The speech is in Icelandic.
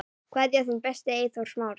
Kveðja, þinn besti, Eyþór Smári.